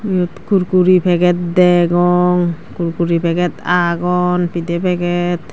eyot kurkure packet degong kurkure packet agon pide packet.